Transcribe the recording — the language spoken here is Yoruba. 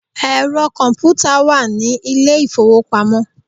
Ẹ̀rọ kọ̀ǹpútà wà ní ilé ìfowópamọ́.